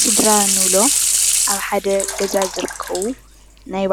ስድራ እንብሎ ኣብ ሓደ ገዛ ዝርከቡ ናይ